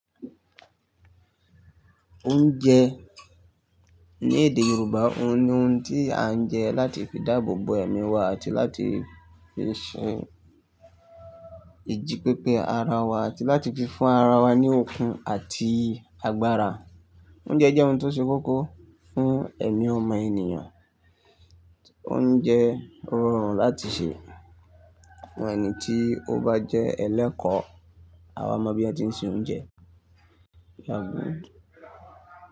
Oúnjẹ ní èdè Yorùbá òun ni oun tí à ń jẹ láti fi dáàbò bo ẹ̀mí wa àti láti fi ṣe ìjípépé ara wa àti láti fi fún ara wa ní okun àti agbára. Oúnjẹ jẹ́ oun tí ó ṣe kókó fún ẹ̀mí ọmọ ènìyàn, oúnjẹ rọrùn láti ṣe. Ẹni tí ó bá jẹ́ ẹlẹ́kọ̀ọ́, a wa mọ bí won tí se oúnjẹ.